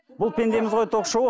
бұл пендеміз ғой ток шоуы